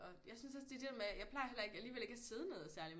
Og jeg synes også det der med jeg plejer heller ikke alligevel ikke at sidde ned særlig